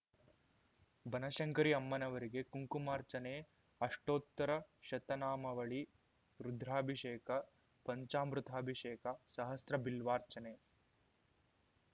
ಬನಶಂಕರಿ ಅಮ್ಮನವರಿಗೆ ಕುಂಕುಮಾರ್ಚನೆ ಅಷ್ಟೋತ್ತರ ಶತನಾಮಾವಳಿ ರುದ್ರಾಭಿಷೇಕ ಪಂಚಾಮೃತಾಭಿಷೇಕ ಸಹಸ್ರ ಬಿಲ್ವಾರ್ಚನೆ